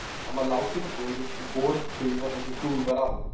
Hann var látinn á börur og borinn til byggða þar sem hlúð var að honum.